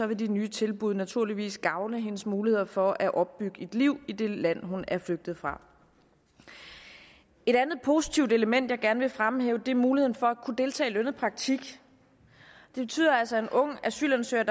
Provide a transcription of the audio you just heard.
vil de nye tilbud naturligvis gavne hendes muligheder for at opbygge et liv i det land hun er flygtet fra et andet positivt element jeg gerne vil fremhæve er muligheden for at kunne deltage i lønnet praktik det betyder altså at en ung asylansøger